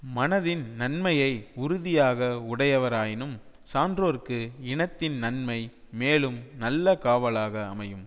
மனதின் நன்மையை உறுதியாக உடையவராயினும் சான்றோர்க்கு இனத்தின் நன்மை மேலும் நல்ல காவலாக அமையும்